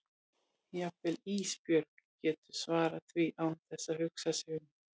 Jafnvel Ísbjörg getur svarað því án þess að hugsa sig um.